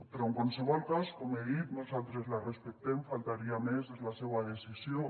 però en qualsevol cas com he dit nosaltres la respectem faltaria més és la seua decisió